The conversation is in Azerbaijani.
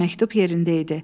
Məktub yerində idi.